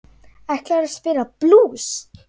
Ætlarðu að spila blús?